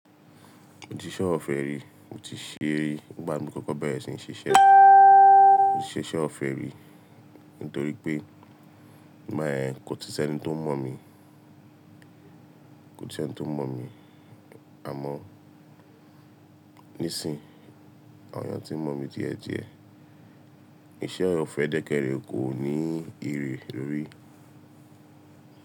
Mo ti ṣe ọ̀fẹ́ rí, mo ti ríi gbà mí kókó bẹ́ẹ̀ sì ń ṣe iṣẹ́ ọ̀fẹ́ rí nítorí pé má ẹ́ kò titẹ́ ẹni tó mọ̀ mí, àmọ́ nísìnyí àwọn eyan tí mọ̀ mí díẹ̀ díẹ̀ iṣẹ́ ọ̀fẹ́ dẹ́kẹ́ rẹ̀ kò ní ere lórí.